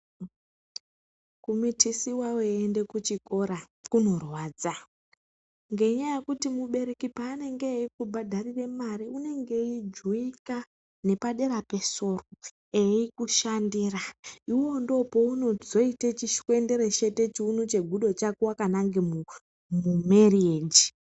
"Kumitisiwa weiende kuchikora kunorwadza, ngenyaya yekuti mubereki paanenge eiku bhadharire mare unenge eijuwika eikushandira, iwewe ndipo paunozoita chishwendereshete chiuno chegudo chako wakananga kumereji."